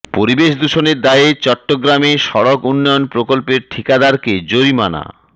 পরিবেশ দুষণের দায়ে চট্টগ্রামে সড়ক উন্নয়ন প্রকল্পের ঠিকাদারকে জরিমানা